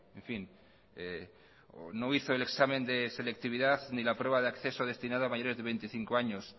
en fin no hizo el examen de selectividad ni la prueba de acceso destinada a mayores de veinticinco años